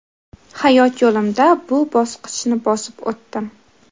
Hayot yo‘limda bu bosqichni bosib o‘tdim.